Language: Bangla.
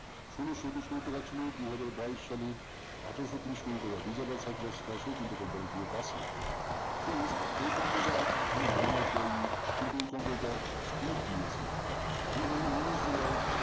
ষোলোশ একুশ কোটি টাকা ছিল দুহাজার বাইশ সালে আঠারোশ ত্রিশ কোটি টাকা company গুলো তাই এই company টা কোন bonus দেয়নি কিন্তু এই company তে speed দিয়েছে আপনি দেখুন উনিশ জুলাই